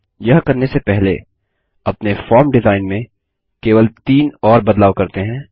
यह करने से पहले अपने फॉर्म डिजाईन में केवल तीन और बदलाव करते हैं